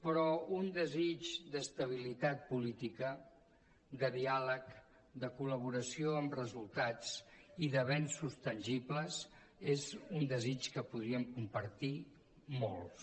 però un desig d’estabilitat política de diàleg de col·laboració amb resultats i d’avenços tangibles és un desig que podríem compartir molts